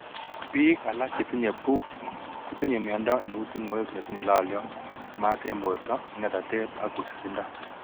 Biika alak chetinye BOOP kotinye miondo neu tung'wek netinye lolyot, maat eng' borto ng'etatet ak wisisindo